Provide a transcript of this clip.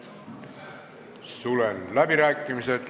Sulgen läbirääkimised.